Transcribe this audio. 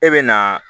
E bɛ na